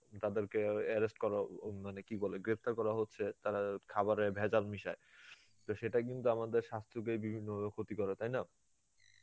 তাদের কে আয়্য~ arrest করা উম মানে কি বলে গ্রেপ্তার করা হচ্ছে, তারা খাবারে ভেজাল মিশায় তো সেটা কিন্তু আমাদের স্বাস্থ্যকে বিভিন্নভাবে ক্ষতি করে, তাইনা?